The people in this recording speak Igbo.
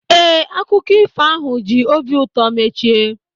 Ee, akụkọ ifo ahụ ji obi ụtọ mechie